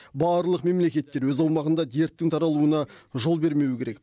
барлық мемлекеттер өз аумағында дерттің таралуына жол бермеуі керек